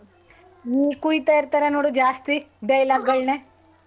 ಹು ಕುಯ್ತಾ ಇರ್ತರ್ ನೋಡು ಜಾಸ್ತಿ dialogue ಗಳನ್ನೇ.